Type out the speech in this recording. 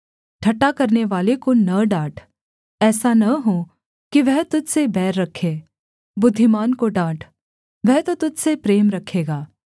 ठट्ठा करनेवाले को न डाँट ऐसा न हो कि वह तुझ से बैर रखे बुद्धिमान को डाँट वह तो तुझ से प्रेम रखेगा